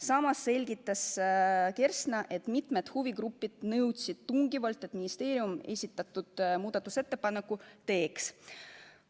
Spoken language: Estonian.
Samas selgitas ta, et mitmed huvigrupid nõudsid tungivalt, et ministeerium esitatud muudatusettepaneku teeks.